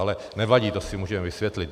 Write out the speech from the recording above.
Ale nevadí, to si můžeme vysvětlit.